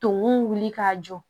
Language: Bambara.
Tumu wuli k'a jɔ